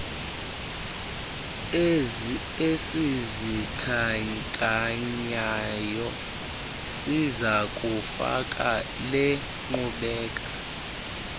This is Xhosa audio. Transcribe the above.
esizikhankanyayo sizakufaka lenkqubela